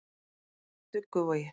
Dugguvogi